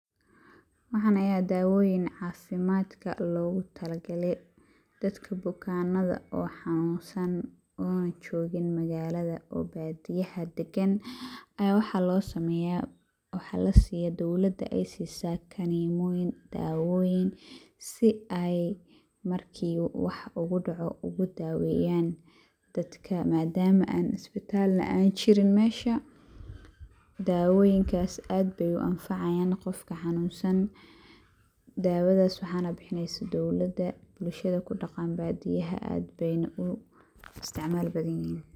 Waxan ayaa dawoyiin cafimadkaa logu talagalee dadka bukanada o xanunsan ona jogiin magalad,o badiyahaa dagan ayaa waxaa lo sameyaa, waxaa lasiyaa dowlada ee sisaa kanimoyiin, dawoyiin si eey marki wax u kudacco iskugu daweyan daadka madama aan isbitaal an jiriin meesha, dawoyinkaas aad beey u anfacayiin qofka xanun san dawadaas waxana bixisa dowladaa, bulshaada kudaqaan badiyaaha aad beey nah u isticmaal bathan yihiin.